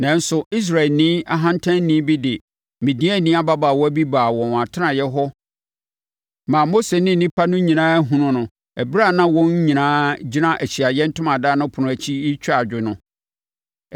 Nanso, Israelni ɔhantanni bi de Midiani ababaawa bi baa wɔn atenaeɛ hɔ maa Mose ne nnipa no nyinaa hunuu no ɛberɛ a na wɔn nyinaa gyina Ahyiaeɛ Ntomadan no ɛpono akyi retwa adwo no.